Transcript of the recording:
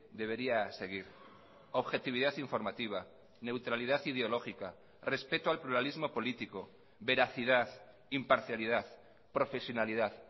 debería seguir objetividad informativa neutralidad ideológica respeto al pluralismo político veracidad imparcialidad profesionalidad